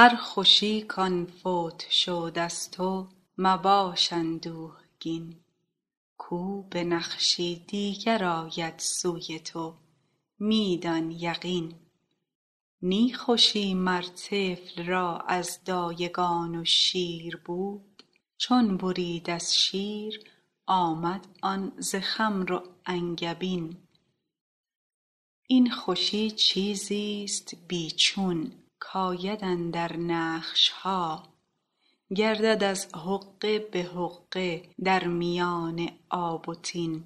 هر خوشی که فوت شد از تو مباش اندوهگین کو به نقشی دیگر آید سوی تو می دان یقین نی خوشی مر طفل را از دایگان و شیر بود چون برید از شیر آمد آن ز خمر و انگبین این خوشی چیزی است بی چون کآید اندر نقش ها گردد از حقه به حقه در میان آب و طین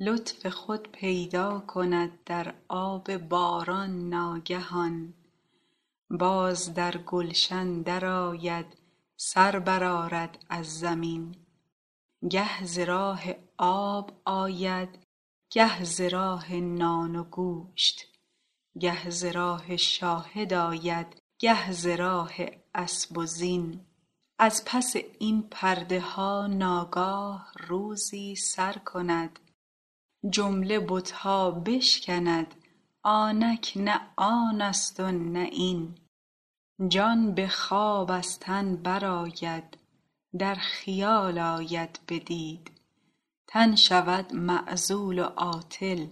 لطف خود پیدا کند در آب باران ناگهان باز در گلشن درآید سر برآرد از زمین گه ز راه آب آید گه ز راه نان و گوشت گه ز راه شاهد آید گه ز راه اسب و زین از پس این پرده ها ناگاه روزی سر کند جمله بت ها بشکند آنک نه آن است و نه این جان به خواب از تن برآید در خیال آید بدید تن شود معزول و عاطل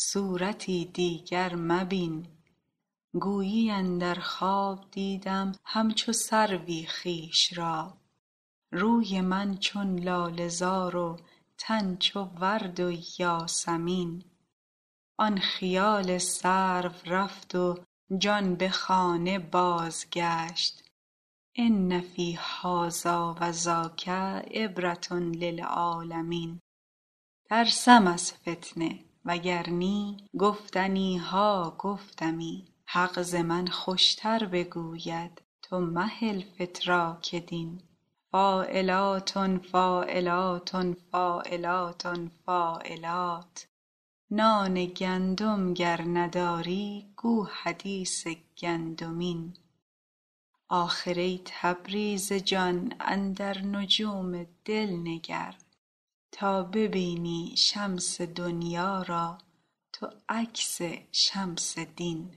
صورتی دیگر مبین گویی اندر خواب دیدم همچو سروی خویش را روی من چون لاله زار و تن چو ورد و یاسمین آن خیال سرو رفت و جان به خانه بازگشت ان فی هذا و ذاک عبرة للعالمین ترسم از فتنه وگر نی گفتنی ها گفتمی حق ز من خوشتر بگوید تو مهل فتراک دین فاعلاتن فاعلاتن فاعلاتن فاعلات نان گندم گر نداری گو حدیث گندمین آخر ای تبریز جان اندر نجوم دل نگر تا ببینی شمس دنیا را تو عکس شمس دین